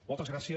moltes gràcies